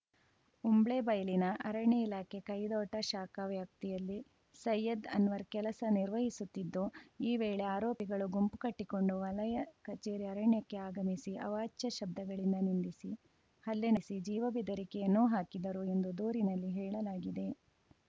ಉಂಬ್ಳೇಬೈಲಿನ ಅರಣ್ಯ ಇಲಾಖೆ ಕೈದೋಟ ಶಾಖಾ ವ್ಯಾಪ್ತಿಯಲ್ಲಿ ಸೈಯದ್‌ ಅನ್ವರ್‌ ಕೆಲಸ ನಿರ್ವಹಿಸುತ್ತಿದ್ದು ಈ ವೇಳೆ ಆರೋಪಿಗಳು ಗುಂಪು ಕಟ್ಟಿಕೊಂಡು ವಲಯ ಕಚೇರಿ ಆವರಣಕ್ಕೆ ಆಗಮಿಸಿ ಅವಾಚ್ಯ ಶಬ್ಧಗಳಿಂದ ನಿಂದಿಸಿ ಹಲ್ಲೆ ನಡೆಸಿ ಜೀವ ಬೆದರಿಕೆಯನ್ನೂ ಹಾಕಿದರು ಎಂದು ದೂರಿನಲ್ಲಿ ಹೇಳಲಾಗಿದೆ